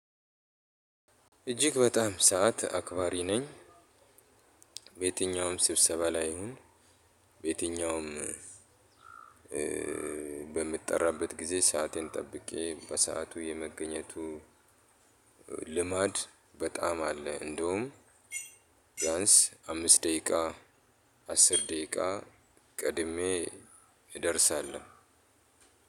እጅግ በጣም ሰዓት አክባሪ ነኝ። በየትኛውም ስብሰባ ላይ ይሁን በየትኛውም በምጠራበት ጊዜ ሰአቴን ጠብቄ በሰአቱ የመገኘቱ ልማድ በጣም አለ። እንደውም ቢያንስ አምስት ደቂቃ አስር ደቂቃ ቀድሜ እደርሳለሁ።